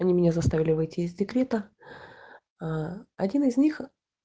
они меня заставили выйти из декрета ээ один из них